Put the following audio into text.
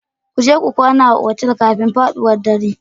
Ku je ku kwana a otel kafin faɗuwar dare